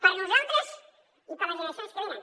per a nosaltres i per a les generacions que venen